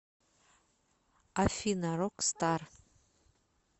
афина рокстар